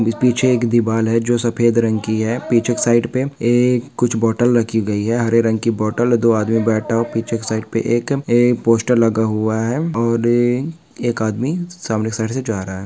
पीछे एक दिवार है जो सफेद रंग की है पीछे के साइट पे एक कुछ बॉटल रखी गई है हरे रंग की बॉटल दो आदमी बैठा व पीछे के साइड पे ए पोस्टर लगा हुआ है और ये एक आदमी सामने के साइड से जा रहा है।